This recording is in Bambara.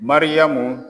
Mariyamu